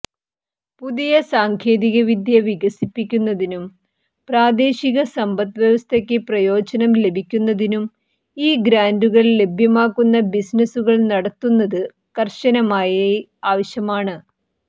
പുതിയ സാങ്കേതികവിദ്യ വികസിപ്പിക്കുന്നതിനും പ്രാദേശിക സമ്പദ്വ്യവസ്ഥയ്ക്ക് പ്രയോജനം ലഭിക്കുന്നതിനും ഈ ഗ്രാന്റുകൾ ലഭ്യമാക്കുന്ന ബിസിനസുകൾ നടത്തുന്നത് കർശനമായി ആവശ്യമാണ്